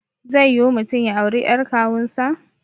Zai yiwu mutum ya auri ƴar kawun sa